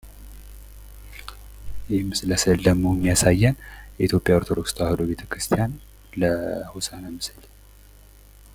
ይህ ምስል የሚያሳዬን የኢትዮጵያ ኦርቶዶክስ ተዋህዶ ቤተክርስቲያን ለሆሳዕና ምስል።